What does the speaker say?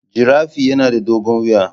Giraffe yana da dogon wuya